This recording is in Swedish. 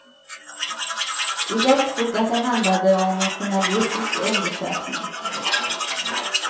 I det stod att det handlade om en journalistisk undersökning.